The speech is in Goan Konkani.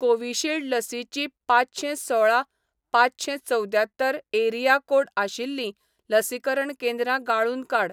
कोविशिल्ड लसीचीं पांचशेंसोळा पांचशेंचवद्यात्तर एरिया कोड आशिल्लीं लसीकरण केंद्रां गाळून काड